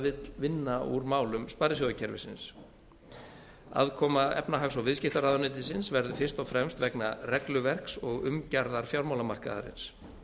vill vinna úr málum sparisjóðakerfisins aðkoma efnahags og viðskiptaráðuneytisins verður fyrst og fremst vegna regluverks og umgjarðar fjármálamarkaðarins